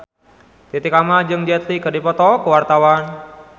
Titi Kamal jeung Jet Li keur dipoto ku wartawan